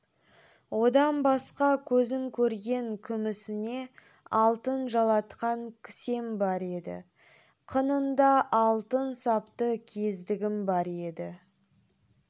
одан басқа өзін көрген күмісіне алтын жалатқан кісем бар еді қынында алтын сапты кездігім бар еді